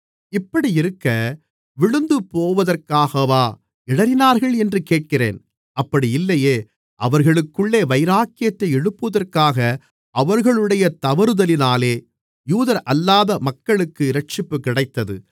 இப்படியிருக்க விழுந்துபோவதற்காகவா இடறினார்கள் என்று கேட்கிறேன் அப்படி இல்லையே அவர்களுக்குள்ளே வைராக்கியத்தை எழுப்புவதற்காக அவர்களுடைய தவறுதலினாலே யூதரல்லாத மக்களுக்கு இரட்சிப்பு கிடைத்தது